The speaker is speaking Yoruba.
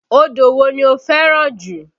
Odò wo ni o fẹ́ràn jù?